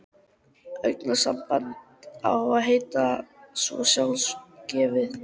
Augnsamband á að heita svo sjálfgefið.